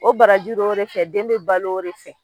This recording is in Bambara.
O barajuru o de fɛ den bɛ balo o de fɛ.